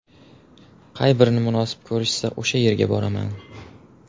Qay birini munosib ko‘rishsa, o‘sha yerga boraman.